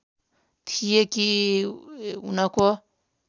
थिए कि उनको